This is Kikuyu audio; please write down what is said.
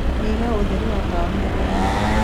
nyĩhĩaũtherĩ wa tawa wa methaĩnĩ